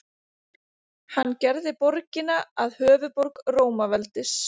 Hann gerði borgina að höfuðborg Rómaveldis.